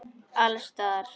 Alls staðar.